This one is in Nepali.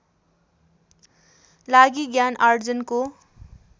लागि ज्ञान आर्जनको